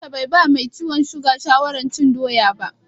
Likita bai ba mai ciwon siga shawarar cin doya.